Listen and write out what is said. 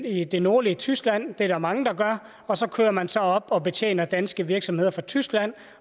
i det nordlige tyskland det er der mange der gør og så kører man så op og betjener danske virksomheder fra tyskland